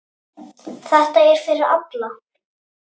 Þetta er fyrir alla.